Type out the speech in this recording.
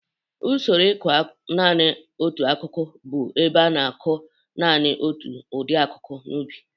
Usoro ịkọ nanị otu akụkụ bụ ebe a na-akụ nanị otu ụdị akụkụ n'ubi.